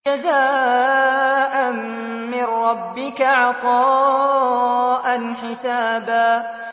جَزَاءً مِّن رَّبِّكَ عَطَاءً حِسَابًا